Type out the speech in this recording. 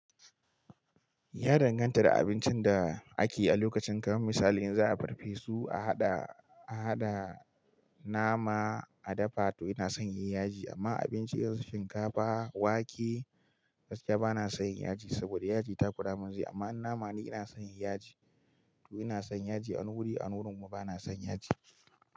Ya danganta da abincin da ake yi a lokacin. Kamar misali in za a farfesu a haɗa, a haɗa nama a dafa to ina son yayi yaji. Amma abinci kamar shinkafa, wake gaskiya bana son yaji saboda yaji ta kkuramin zai. Amma in nama ne ina son yin yaji. To ina son yaji. A wuri, a wani wurin kuma bana son yaji.